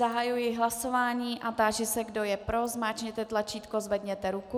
Zahajuji hlasování a táži se, kdo je pro, zmáčkněte tlačítko, zvedněte ruku.